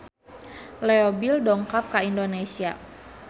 Leo Bill dongkap ka Indonesia